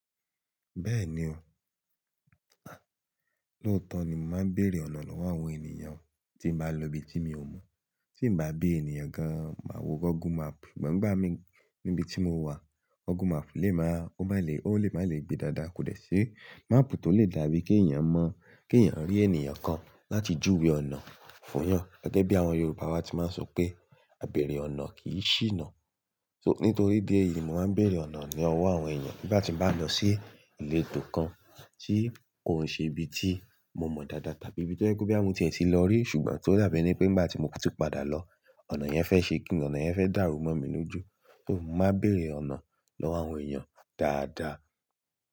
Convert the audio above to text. Bẹ́ẹ̀ni o, à, lóòótọ́ ni màá ń bèèrè ọ̀nà lọ́wọ́ àwọn ènìyàn tí màá lọ ibi tí mi ò mọ̀. Tí n bá bí ènìyàn kan, màá wo Google Map, ṣùgbọ́n ìgbà mí níbi tí mo wà, Google Map lè máa, ó má lè, ó lè má lè gbe dáadáa, kò lè ṣe map tó lè dàbí kí ẹ̀yàn mọ̀, kí ẹ̀yàn rí ènìyàn kan láti júwe ọ̀nà fún wọn. Gẹ́gẹ́ bí àwọn Yorùbá wá ti máa ń sọ pé "Àbẹ̀rẹ̀ ọ̀nà kì í ṣìnà." So, nítorí idi ẹ́yìí, màá ń bèèrè ọ̀nà ní ọwọ́ àwọn ènìyàn nígbà tí màá lọ sí ìletò kan tí kò ṣe ibi tí mo mọ̀ dáadáa tàbí ibi tí ó jẹ́ pé bí à mú ti ẹ̀ ti lọ rí, ṣùgbọ́n tó dàbí pé nígbà tí mo bá tú padà lọ, ọ̀nà yẹn fẹ́ ṣe kí ni, ọ̀nà yẹn fẹ́ dàrú mọ́ mi ní ojú, so màá bèèrè ọ̀nà lọ́wọ́ àwọn ènìyàn dáadáa.